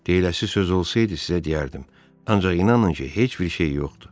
Deyiləsi söz olsaydı sizə deyərdim, ancaq inanın ki, heç bir şey yoxdur.